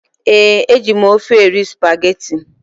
Ee, e ji m ofe eri spageti.